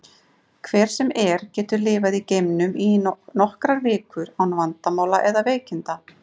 Hver sem er getur lifað í geimnum í nokkrar vikur án vandamála eða veikinda.